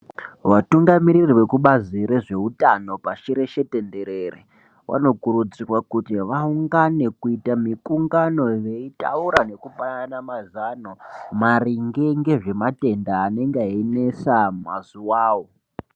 Vatungamiriri vekubazi rezveutano pashi reshe tenderere, vanokurudzirwa kuti vaungane kuita mikungano veitaura ngekupanana mazano maringe ngezvematenda anenga einesa mazuwawo.